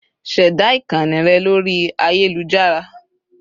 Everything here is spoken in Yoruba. Ṣẹ̀dá ìkànnì rẹ lórí ayélujára